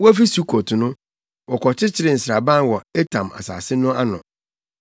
Wofi Sukot no, wɔkɔkyeree nsraban wɔ Etam sare no ano.